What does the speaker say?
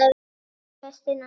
Elsku besti Nonni minn.